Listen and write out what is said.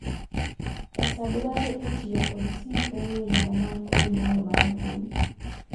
pesa dware e tiyo kod simb ong'we yamo man kod nyalo mar mbui